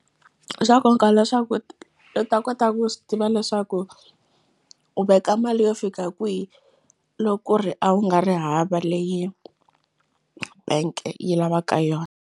I swa nkoka leswaku i ta kota ku swi tiva leswaku u veka mali yo fika kwihi loku ri a wu nga ri hava leyi bank-e yi lavaka yona.